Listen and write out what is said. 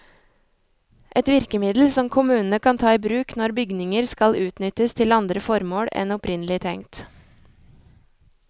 Et virkemiddel som kommunene kan ta i bruk når bygninger skal utnyttes til andre formål enn opprinnelig tenkt.